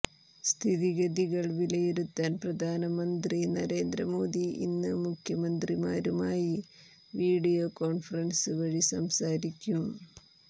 സ്ഥിതിഗതികൾ വിലയിരുത്താൻ പ്രധാനമന്ത്രി നരേന്ദ്രമോദി ഇന്ന് മുഖ്യമന്ത്രിമാരുമായി വിഡിയോ കോണ്ഫറൻസ് വഴി സംസാരിക്കും